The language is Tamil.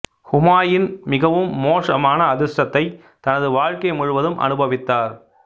ஹூமாயூன் மிகவும் மோசமான அதிர்ஷ்டத்தை தனது வாழ்க்கை முழுவதும் அனுபவித்தார்